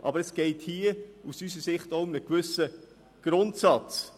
Aus unserer Sicht geht es hier auch um einen gewissen Grundsatz.